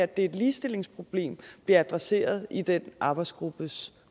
det er et ligestillingsproblem bliver adresseret i den arbejdsgruppes